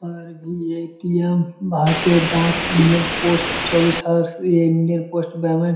पर भी एटीएम भारतीय डाक इंडियन पोस्ट --